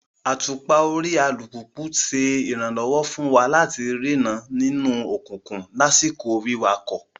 Àtùpà orí alupupu ṣe iranlọwọ fun wa lati rii ìran nínú òkùnkùn lakoko wiwakọ